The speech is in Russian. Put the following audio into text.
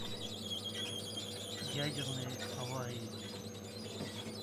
ядерные аварии